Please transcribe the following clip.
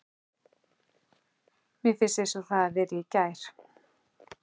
Mér finnst eins og það hafi verið í gær.